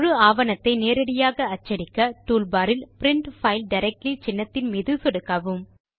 முழு ஆவணத்தை நேரடியாக அச்சடிக்க டூல் பார் இல் பிரின்ட் பைல் டைரக்ட்லி சின்னத்தின் மீது சொடுக்கவும்